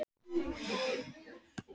Ásbjörg, hvað er opið lengi á föstudaginn?